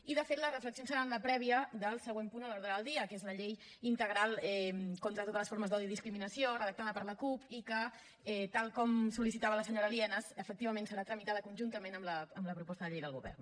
i de fet les reflexions seran la prèvia del següent punt de l’ordre del dia que és la llei integral contra totes les formes d’odi i discriminació redactada per la cup i que tal com sol·licitava la senyora lienas efectivament serà tramitada conjuntament amb la proposta de llei del govern